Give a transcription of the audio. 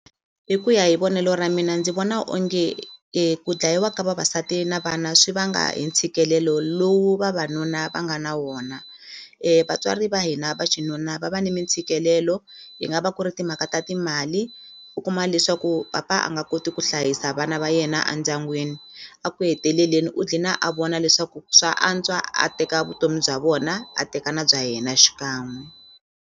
Hi ku ya hi vonelo ra mina ndzi vona onge ku dlayiwa ka vavasati na vana swi vanga hi ntshikelelo lowu vavanuna va nga na wona vatswari va hina va xinuna va va ni mintshikelelo yi nga va ku ri timhaka ta timali u kuma leswaku papa a nga koti ku hlayisa vana va yena a ndyangwini a ku heteleleni u dlina a vona leswaku swa antswa a teka vutomi bya vona a teka na bya yena xikan'we.